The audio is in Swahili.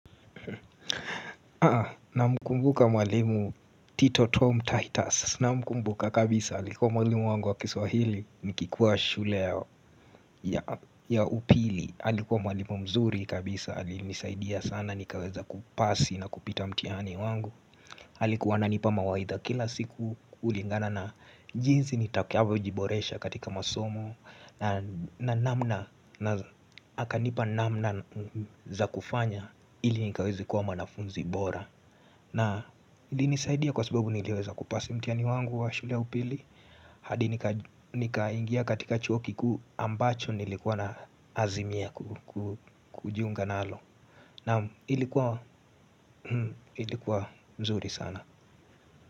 Namkumbuka mwalimu Tito Tom Titus namkumbuka kabisa alikuwa mwalimu wangu wa kiswahili nikikuwa shule ya upili Alikuwa mwalimu mzuri kabisa alinisaidia sana nikaweza kupasi na kupita mtihani wangu alikuwa ananipa mawaidha kila siku kulingana na jinsi nitakavyo jiboresha katika masomo na namna na, akanipa namna za kufanya ili nikaweze kuwa mwanafunzi bora na ilinisaidia kwa sababu niliweza kupasi mtihani wangu wa shule ya upili hadi nikaingia katika chuo kikuu ambacho nilikuwa naazimia kujiunga nalo naam, ilikuwa mzuri sana.